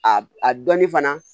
A a dɔɔnin fana